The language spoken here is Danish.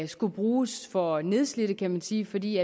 skulle bruges for nedslidte kan man sige fordi